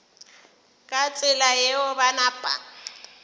ka tsela yeo ba napa